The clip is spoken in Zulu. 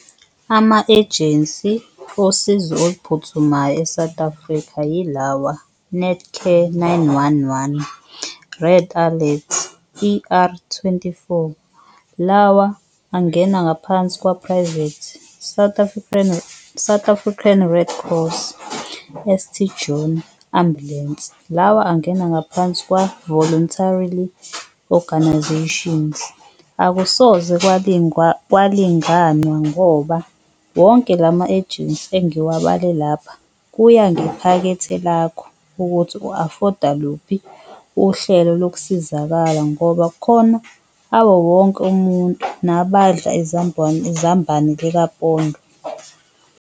Ama-ejensi osizo oluphuthumayo e-South Africa yilawa, Netcare nine-one-one, Red Alert, E_R twenty-four, lawa angena ngaphansi kwa-private. South African Red Cross, St John ambulensi, lawa angena ngaphansi kwa-voluntarily organizations. Akusoze kwalinganwa ngoba wonke lama-ejensi engiwabale lapha kuya ngephakethe lakho, ukuthi u-afoda luphi uhlelo lokusizakala ngoba kukhona awowonke umuntu nabadla izambane likapondo.